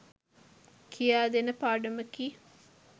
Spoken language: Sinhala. කියා දෙන පාඩමකි.